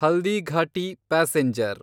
Haldighati passenger